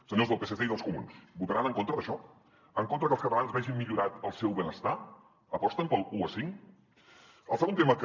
senyors del psc i dels comuns votaran en contra d’això en contra que els catalans vegin millorat el seu benestar aposten per l’u a cinc el segon tema que